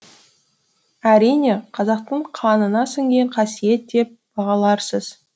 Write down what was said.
әрине қазақтың қанына сіңген қасиет деп бағаларсыз